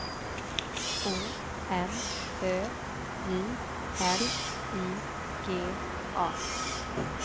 O M Ö J L I G A